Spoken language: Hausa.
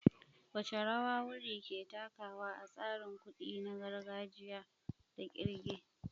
Wace rawa wurri ke takawa a tsarin kuɗi na gargajiya da kirga?